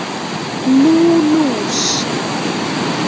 Nú, lús